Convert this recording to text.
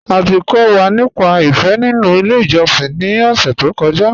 À ti kọ̀ wà nípà ìfé nínu ilẹ̀ ìjọ̀ṣìn ni ọ̀ṣẹ̀ tó kọ́ja.